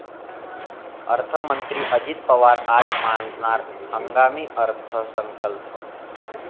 अर्थमंत्री अजित पवार आज मांडणार हंगामी अर्थसंकल्प